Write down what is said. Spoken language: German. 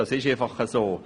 das ist einfach so.